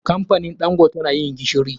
Kamfanin ɗangote na yin gishiri.